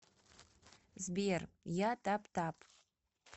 сбер я табтаб